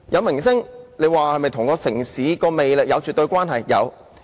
明星是否與城市的魅力有絕對關係？